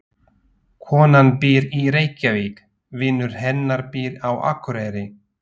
Konan býr í Reykjavík. Vinur hennar býr á Akureyri.